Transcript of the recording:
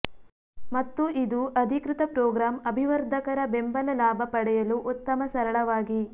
ಮತ್ತು ಇದು ಅಧಿಕೃತ ಪ್ರೋಗ್ರಾಂ ಅಭಿವರ್ಧಕರ ಬೆಂಬಲ ಲಾಭ ಪಡೆಯಲು ಉತ್ತಮ ಸರಳವಾಗಿ